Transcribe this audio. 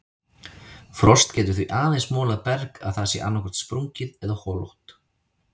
Frost getur því aðeins molað berg að það sé annaðhvort sprungið eða holótt.